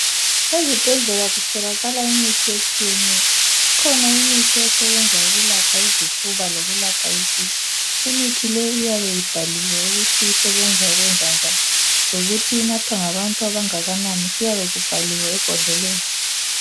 Ezibhedlela kutholakala imithi etshiyeneyo ikhona imithi esebenza ukwelapha izifuba lokulapha isisu, imithi le iyabe ibhaliwe ukuthi isebenza ukwenza njani lokuthi inathwa ngabantu abangakanani kuyabe kubhaliwe ebhodleleni.